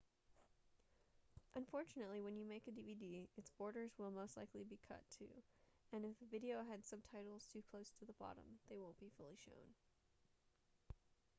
unfortunately when you make a dvd it's borders will most likely be cut too and if the video had subtitles too close to the bottom they won't be fully shown